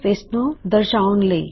ਸਿਰਫ ਇਸਨੂੰ ਦੁਹਰਾੳਣ ਲਈ